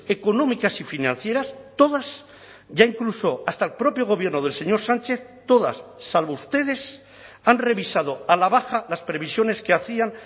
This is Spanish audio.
económicas y financieras todas ya incluso hasta el propio gobierno del señor sánchez todas salvo ustedes han revisado a la baja las previsiones que hacían